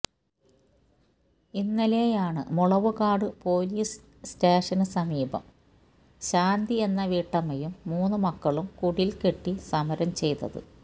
ഇന്നലെയാണ് മുളവുകാട് പോലീസ് സ്റ്റേഷന് സമീപം ശാന്തി എന്ന വീട്ടമ്മയും മൂന്ന് മക്കളും കുടില് കെട്ടി സമരം ചെയ്തത്